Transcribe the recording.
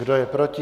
Kdo je proti?